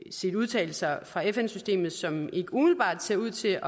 set udtalelser fra fn systemet som ikke umiddelbart ser ud til